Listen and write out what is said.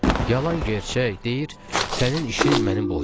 yalan-gerçək deyir sənin işin mənim boynuma.